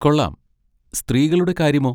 കൊള്ളാം. സ്ത്രീകളുടെ കാര്യമോ?